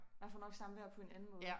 Man får nok samvær på en anden måde